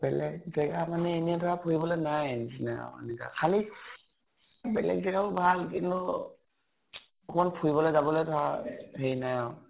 বেলেগ জেগা মানে এনেই ধৰা ফুৰিবলৈ নাই আৰু সেনেকা। খালী বেলেগ জেগা ও ভাল কিন্তু অকনমান ফুৰিবলৈ জাবলৈ ধৰা হেৰি নাই আৰু